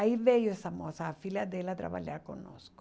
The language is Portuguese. Aí veio essa moça a filha dela trabalhar conosco.